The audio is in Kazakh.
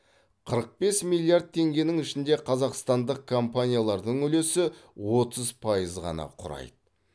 қырық бес миллиард теңгенің ішінде қазақстандық компаниялардың үлесі отыз пайыз ғана құрайды